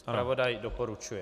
Zpravodaj doporučuje.